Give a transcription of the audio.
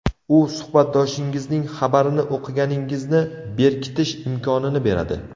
U suhbatdoshingizning xabarini o‘qiganingizni berkitish imkonini beradi.